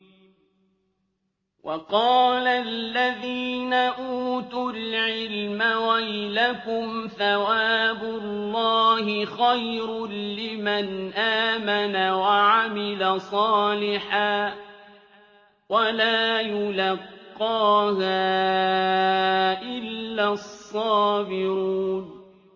وَقَالَ الَّذِينَ أُوتُوا الْعِلْمَ وَيْلَكُمْ ثَوَابُ اللَّهِ خَيْرٌ لِّمَنْ آمَنَ وَعَمِلَ صَالِحًا وَلَا يُلَقَّاهَا إِلَّا الصَّابِرُونَ